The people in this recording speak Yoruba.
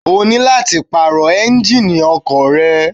O ní láti pààrọ̀ Ẹ́ńjíìnì ọkọ̀ rẹ